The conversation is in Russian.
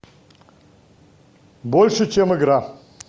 больше чем игра